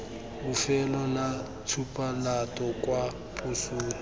bofelo la tshupamolato kwa posong